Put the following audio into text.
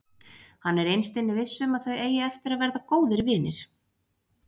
Hann er innst inni viss um að þau eiga eftir að verða góðir vinir.